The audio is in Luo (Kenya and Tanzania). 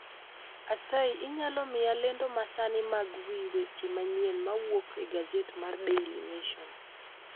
Asayi inyalo mia lendo masani mag wii weche manyien mawuok e gaset mar daily nation